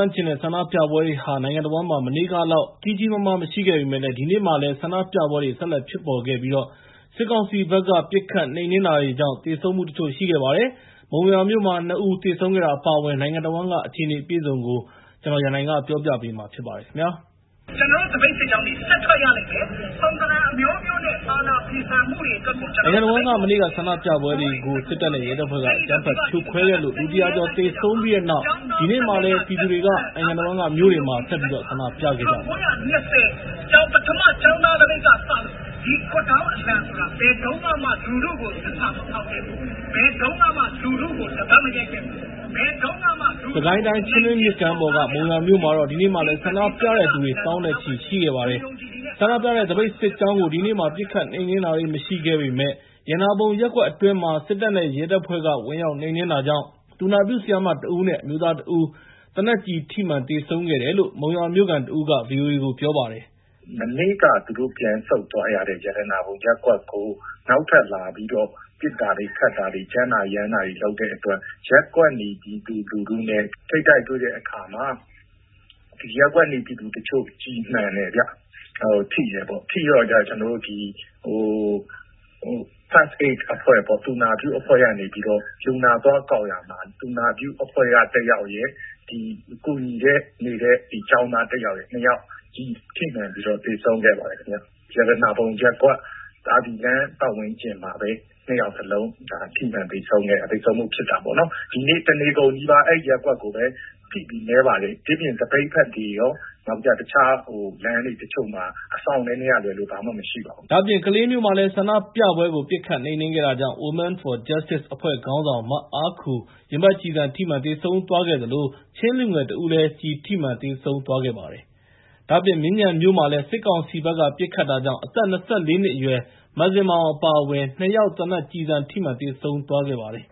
န့်ကျင်တဲ့ ဆန္ဒပြပွဲတွေဟာ နိုင်ငံတဝန်းမှာ မနေ့ကလောက် ကြီးကြီးမားမား မရှိခဲ့ပေမယ့်လည်း ဒီနေ့မှာလည်း ဆန္ဒပြပွဲတွေ ဆက်လက်ဖြစ်ပေါ်နေပြီး စစ်ကောင်စီဘက်က ပစ်ခတ်နှိမ်နင်းတာတွေကြောင့် သေဆုံးမှုတချို့ ရှိခဲ့ပါတယ်။ မုံရွာမြို့မှာ ၂ ဦး သေဆုံးခဲ့တာ အပါအဝင် နိုင်ငံတဝန်းက အခြေအနေ အပြည့်အစုံကို ကိုရန်နိုင် တင်ပြပေးထားပါတယ်။ နိုင်ငံတဝန်းက မနေ့က ဆန္ဒပြတဲ့သူတွေကို စစ်တပ်နဲ့ ရဲတပ်ဖွဲ့တွေက အကြမ်းဖက်ဖြိုခွဲလို့ လူ ၁၀၀ ကျော် သေဆုံးပြီးတဲ့နောက် ဒီနေ့မှာလည်း ပြည်သူတွေက နိုင်ငံတဝန်းက မြို့တွေမှာ ဆက်ပြီးတော့ ဆန္ဒပြခဲ့ကြပါတယ်။ စစ်ကိုင်းတိုင်း ချင်းတွင်းမြစ်ကမ်းပေါ်က မုံရွာမြို့မှာတော့ ဒီနေ့မှာလည်း ဆန္ဒပြတဲ့သူတွေ သောင်းနဲ့ချီ ရှိခဲ့ပါတယ်။ ဆန္ဒပြတဲ့ သပိတ်စစ်ကြောင်းကို ဒီနေ့မှာ ပစ်ခတ်နှိမ်နင်းတာတွေ မရှိခဲ့ပေမယ့် ရတနာပုံရပ်ကွက်အတွင်းမှာ စစ်တပ်နဲ့ ရဲတပ်ဖွဲ့တွေက ဝင်ရောက်နှိမ်နင်းတာကြောင့် သူနာပြုဆရာမတဦးနဲ့ အမျိုးသားတဦး သေနတ်ကျည်ထိမှန် သေဆုံးခဲ့တယ်လို့ မုံရွာမြို့ခံတဦးက ဗွီအိုအေကို ပြောပါတယ်။ “မနေ့က သူတို့ပြန်ဆုတ်သွားရတဲ့ ရတနာပုံရပ်ကွက်ကို နောက်ထပ်လာပြီးတော့ ပစ်တာတွေ ခတ်တာတွေ ကြမ်းတာတွေ ရမ်းတာတွေ လုပ်တဲ့အတွက် ရပ်ကွက်နေ ပြည်သူလူထုနဲ့ ထိပ်တိုက်တွေ့တဲ့အခါမှာ ရပ်ကွက်နေ ပြည်သူတချို့ ကျည်မှန်တယ်ဗျ၊ ထိတယ်ပေါ့။ ထိတော့ First Aid အဖွဲ့ပေါ့ သူနာပြုအဖွဲ့က တယောက်ရယ်၊ ကူညီနေတဲ့ ကျောင်းသားတယောက်ရယ် နှစ်ယောက် ထိမှန်ပြီး သေဆုံးခဲ့ပါတယ်။ ရတနာပုံရပ်ကွက် လမ်းပတ်ဝန်းကျင်မှာပဲ ၂ ယောက်စလုံး ကျည်ထိမှန်သေဆုံးမှု ဖြစ်တာပေါ့နော်။ ဒီနေ့ တနေကုန်နီးပါး အဲဒီရပ်ကွက်ကိုပဲ ဖိပြီး မဲပါတယ်။ တခြားသပိတ်ဘက်တွေရော တခြားလမ်းတချို့မှာ အစောင့်နည်းနည်းကလွဲလို့ ဘာမှမရှိပါဘူး။” ဒါ့အပြင် ကလေးမြို့မှာလည်း ဆန္ဒပြပွဲကို ပစ်ခတ်နှိမ်နင်းတာကြောင့် Women for Justice အဖွဲ့ခေါင်းဆောင် မအားခူ ရင်ဘတ်ကျည်ထိမှန် သေဆုံးသွားခဲ့သလို ချင်းလူငယ် ၁ ဦးလည်း ကျည်ထိမှန် သေဆုံးသွားပါတယ်။ ဒါ့အပြင် မြင်းခြံမြို့မှာလည်း စစ်ကောင်စီဘက်က ပစ်ခတ်တာကြောင့် အသက် ၂၄ နှစ်အရွယ် မဇင်မာအောင် အပါအဝင် ၂ ယောက် သေနတ်ကျည်ထိမှန် သေဆုံးသွားခဲ့ပါတယ်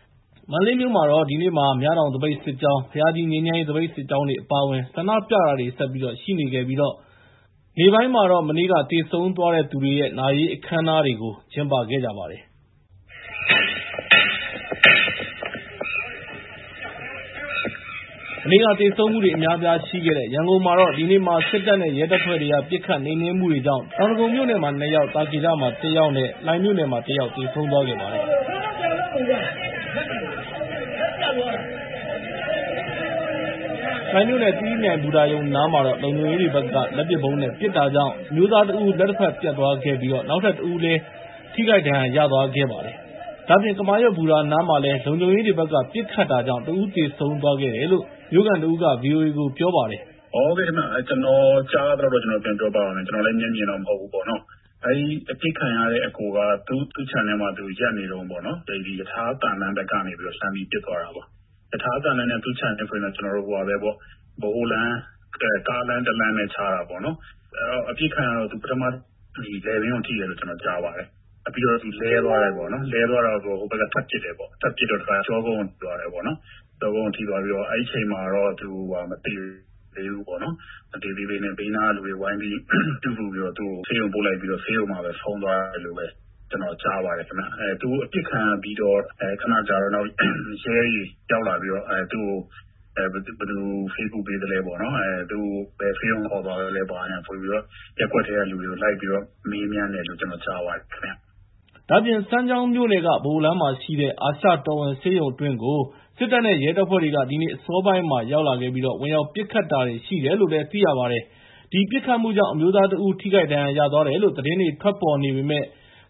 ။ မန္တလေးမြို့မှာလည်း ဒီနေ့မှာ မြတောင်သပိတ်စစ်ကြောင်း၊ ဘုရားကြီး ငြိမ်းချမ်းရေး သပိတ်စစ်ကြောင်းတွေ အပါအဝင် ဆန္ဒပြတာ ဆက်ရှိနေခဲ့ပြီး မနေ့က သေဆုံးသွားတဲ့သူတွေရဲ့ နာရေးအခမ်းအနားတွေကို ကျင်းပခဲ့ကြပါတယ်။ မနေ့က သေဆုံးမှုတွေ အများအပြားရှိခဲ့တဲ့ ရန်ကုန်မှာတော့ ဒီနေ့မှာ စစ်တပ်နဲ့ ရဲတပ်ဖွဲ့တွေက ပစ်ခတ်နှိမ်နင်းမှုတွေကြောင့် တောင်ဒဂုံမြို့နယ်မှာ ၂ ယောက်၊ သာကေတမှာ ၁ ယောက်နဲ့ လှိုင်မြို့နယ်မှာ ၁ ယောက် သေဆုံးသွားခဲ့ပါတယ်။ လှိုင်မြို့နယ် သီရိမြိုင်ဘူတာရုံနားမှာတော့ လုံခြုံရေးတွေဘက်က လက်ပစ်ဗုံးနဲ့ ပစ်တာကြောင့် အမျိုးသား ၁ ဦး လက်တဖက်ပြတ်သွားခဲ့ပြီး နောက်တဦးလည်း ထိခိုက်ဒဏ်ရာ ရသွားခဲ့ပါတယ်။ ဒါ့အပြင် ကမာရွတ်ဘူတာနားမှာလည်း လုံခြုံရေးတွေဘက်က ပစ်ခတ်တာကြောင့် ၁ ဦးသေဆုံးသွားတယ်လို့ မြို့ခံတဦးက ဗွီအိုအေကို ပြောပါတယ်။ “ဟုတ်ကဲ့ ကျနော်ကြားရသလောက် ကျနော် ပြန်ပြောပြပါမယ်။ ကျနော်လည်း မျက်မြင်တော့မဟုတ်ဘူးပေါ့နော။ အဲဒီ အပစ်ခံရတဲ့အစ်ကိုက သူ့ခြံထဲမှာ သူရပ်နေတုန်း ရထားသံလမ်းဘက်ကနေ လှမ်းပြီး ပစ်သွားတာပေါ့။ ရထားသံလမ်းနဲ့ သူ့ခြံနဲ့ဆို ဗဟိုလမ်း ကားလမ်းတလမ်းပဲ ခြားတာပေါ့။ အပစ်ခံရတော့ ပထမ သူ လည်ပင်းကို ထိတယ်လို့ ကြားပါတယ်။ ပြီးတော့ သူလဲသွားတယ်။ လဲသွားတော့ ဟိုဘက်က ထပ်ပစ်တယ်။ ထပ်ပစ်တော့ ကျောကုန်းကို ထိသွားတယ်။ ကျောကုန်းကို ထိသွားပြီးတော့ အဲဒီအချိန်မှာတော့ သူ မသေသေးဘူးပေ့ါ။ ဘေးနားက လူတွေက သူ့ကို ဝိုင်းပြုစုပြီး ဆေးရုံပို့လိုက်ပြီး ဆေးရုံမှာ ဆုံးသွားတယ်လို့ပဲ ကျနော်ကြားပါတယ်။ သူအပစ်ခံရပြီး ခနကြာတော့ ရဲတွေရောက်လာပြီး သူ့ကို ဘယ်သူ ဆေးကုပေးသလဲပေါ့။ ဘယ်ဆေးရုံခေါ်သွားသလဲ ဘာညာ ဆိုပြီးတော့ ရပ်ကွက်ထဲက လူတွေကို လိုက်ပြီးတော့ မေးမြန်းတယ်လို့ ကျေနာ်ကြားပါတယ်။” ဒါ့အပြင် စမ်းချောင်းမြို့နယ် ဗဟိုလမ်းမှာရှိတဲ့ အာရှတော်ဝင် ဆေးရုံံအတွင်းကိုလည်း စစ်တပ်နဲ့ ရဲတပ်ဖွဲ့တွေ ဒီနေ့အစောပိုင်းက ဝင်ရောက်ပစ်ခတ်မှုတွေ ရှိတယ်လို့ သိရပါတယ်။ အဲဒီပစ်ခတ်မှုကြောင့် အမျိုးသားတဦး ထိခိုက်ဒဏ်ရာ ရသွားတယ်လို့ သတင်းတွေ ထွက်ပေါ်နေပေမယ့်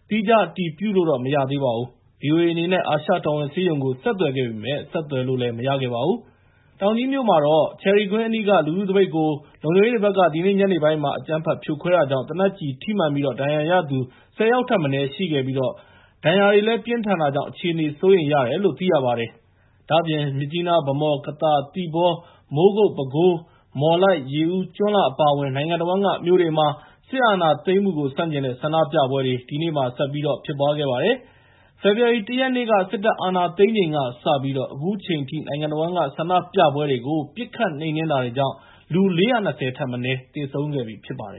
သီးခြားအတည်ပြုလို့တော့ မရသေးပါဘူး။ ဗွီအိုအေအနေနဲ့ အာရှတော်ဝင်ဆေးရုံကို ဆက်သွယ်ခဲ့ပေမယ့် ဆက်သွယ်လို့ မရခဲ့ပါဘူး။ ဒါ့အပြင် တောင်ကြီးမြို့က ချယ်ရီကွင်းအနီးက လူထုသပိတ်ကို လုံခြုံရေးတွေဘက်က ဒီနေ့ ညနေပိုင်းက အကြမ်းဖက် ဖြိုခွဲတာတွေကြောင့် သေနတ်ကျည်ထိမှန်ပြီး ဒဏ်ရာရသူ ၁၀ ယောက်ထက်မနည်းရှိပြီး ဒဏ်ရာတွေ ပြင်းထန်တာကြောင့် အခြေအနေ စိုးရိမ်ရတယ်လို့လည်း သိရပါတယ်။ ဒါ့အပြင် မြစ်ကြီးနား၊ ဗန်းမော်၊ ကသာ၊ သီပေါ၊ မိုးကုတ်၊ ပဲခူး၊ မော်လိုက်၊ ရေဦး၊ ကျွန်းလှ အပါအဝင် နိုင်ငံတဝန်းက မြို့တွေမှာ စစ်အာဏာသိမ်းမှုကို ဆန့်ကျင်တဲ့ ဆန္ဒပြပွဲတွေ ဒီနေ့ လုပ်ခဲ့ကြပါတယ်။ ဖေဖော်ဝါရီ ၁ ရက်နေ့ စစ်တပ်အာဏာသိမ်းချိန်ကစပြီး အခုချိန်ထိ နိုင်ငံတဝန်းက ဆန္ဒပြပွဲတွေကို ပစ်ခတ်နှိမ်နင်းတာကြောင့် လူ ၄၂၀ ထက်မနည်း သေဆုံးသွားခဲ့ပြီ ဖြစ်ပါတယ်